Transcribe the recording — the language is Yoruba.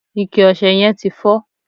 ike ọsẹ yen ti fo